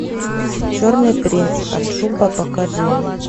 черный принц аджуба покажи мне